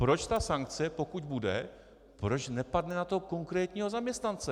Proč ta sankce, pokud bude, proč nepadne na toho konkrétního zaměstnance?